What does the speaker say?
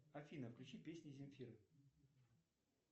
афина включи песни земфиры